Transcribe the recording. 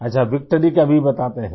अच्छा विक्ट्री का Vबताते हैं